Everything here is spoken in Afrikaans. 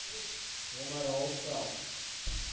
hom herhaal selfs